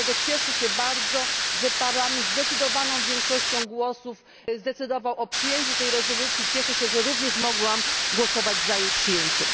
Dlatego cieszę się bardzo, że Parlament zdecydowaną większością głosów zdecydował o przyjęciu tej rezolucji, cieszę się również, że mogłam głosować za jej przyjęciem.